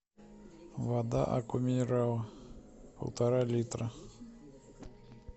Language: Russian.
вода аква минерале полтора литра